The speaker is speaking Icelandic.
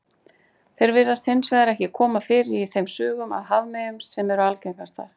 Þeir virðast hins vegar ekki koma fyrir í þeim sögum af hafmeyjum sem eru algengastar.